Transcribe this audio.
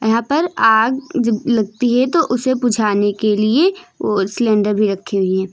यहां पर आग जब लगती है तो उसे बुझाने के लिए वो सिलेंडर भी रखी हुई है।